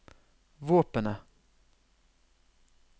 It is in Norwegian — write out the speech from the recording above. våpenet